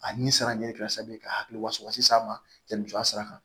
A ni sara ɲɛ karisa ka hakiliwasaba s'a ma yanni muso a sera